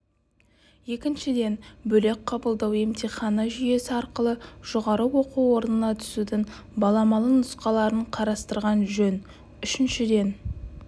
екіншіден бөлек қабылдау емтиханы жүйесі арқылы жоғары оқу орнына түсудің баламалы нұсқаларын қарастырған жөн үшіншіден